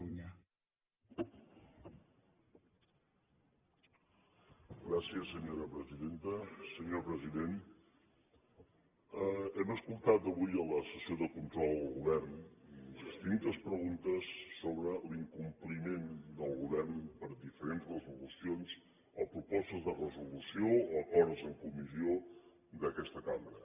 senyor president hem escoltat avui en la sessió de control al govern distintes preguntes sobre l’incompliment del govern per diferents resolucions o propostes de resolució o acords en comissió d’aquesta cambra